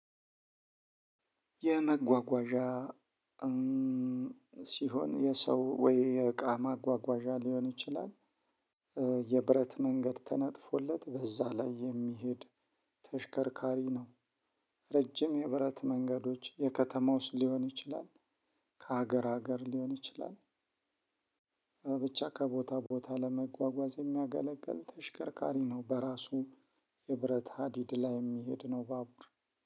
የመጓጓዣ ሲሆን የሰው ወይ የእቃ ማጓጓዣ ሊሆን ይችላል የብረት መንገድ ተነጥፎለት በዛ ላይ የሚሄድ ተሽከርካሪ ነው። ረጅም የብረት መንገዶች የከተማ ውስጥ ሊሆን ይችላል። ከሀገር ሀገር ሊሆን ይችላል። ብቻ ከቦታ ቦታ ለመጓጓዝ የሚያገለግል ተሽከርካሪ ነው። በራሱ የብረት ሀዲድ ላይ የሚሄድ ነው። ባቡር